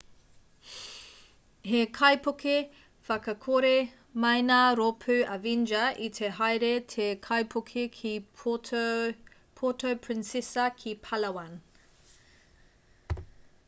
he kaipuke whakakore maina rōpū avenger i te haere te kaipuke ki puerto princesa ki palawan